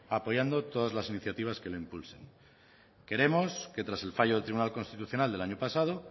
apoyando todas las iniciativas que lo impulsan queremos que tras el fallo del tribunal constitucional del año pasado